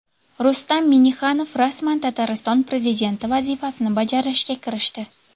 Rustam Minnixanov rasman Tatariston prezidenti vazifasini bajarishga kirishdi.